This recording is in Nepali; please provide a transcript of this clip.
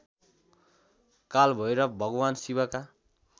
कालभैरव भगवान् शिवका